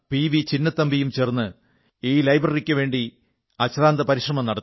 ചിന്നത്തമ്പിയും ചേർന്ന് ഈ ലൈബ്രറിക്കുവേണ്ടി അശ്രാന്ത പരിശ്രമം നടത്തി